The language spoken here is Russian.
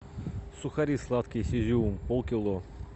сухари сладкие с изюмом полкило